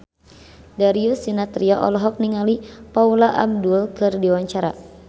Darius Sinathrya olohok ningali Paula Abdul keur diwawancara